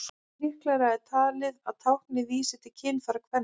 Líklegra er talið að táknið vísi til kynfæra kvenna.